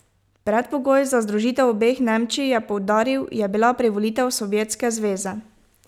Predpogoj za združitev obeh Nemčij, je poudaril, je bila privolitev Sovjetske zveze.